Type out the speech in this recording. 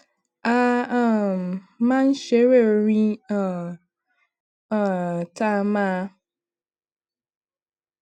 a um máa ń ṣeré orin um um tá a máa